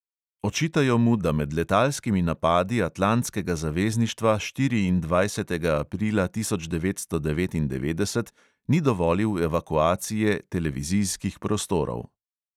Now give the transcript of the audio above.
Očitajo mu, da med letalskimi napadi atlantskega zavezništva štiriindvajsetega aprila devetnajststo devetindevetdeset ni dovolil evakuacije televizijskih prostorov.